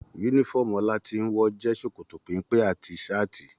Yúnífọ̀ọ́mù Olatinwo jẹ sòkòtò pénpé àti saati.